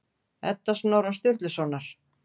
Edda Snorra Sturlusonar.